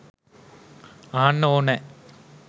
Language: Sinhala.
අහන්න ඕනෑ.